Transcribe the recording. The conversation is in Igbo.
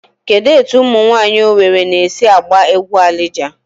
Kedụ etu umụ nwaanyị Owere na-esi agba egwu Alija?